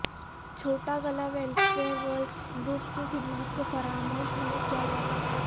چھوٹا گلہ welfare world group کی خدمات کو فراموش نہیں کیا جا سکتا